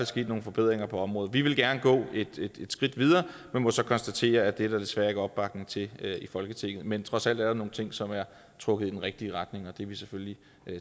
sket nogle forbedringer på området vi vil gerne gå et skridt videre men må så konstatere at det er der desværre ikke opbakning til i folketinget men trods alt er der nogle ting som er trukket i den rigtige retning og det er vi selvfølgelig